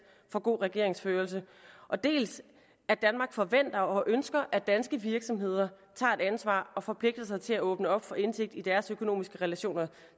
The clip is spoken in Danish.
for god regeringsførelse dels at danmark forventer og ønsker at danske virksomheder tager et ansvar og forpligter sig til at åbne op for indsigt i deres økonomiske relationer